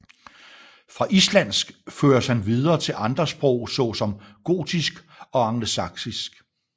Fra islandsk føres han videre til andre sprog såsom gotisk og angelsaksisk